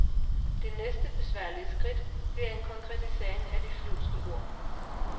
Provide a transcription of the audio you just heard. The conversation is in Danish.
Det næste besværlige skridt bliver en konkretisering af de flyvske ord.